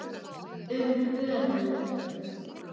Um höfund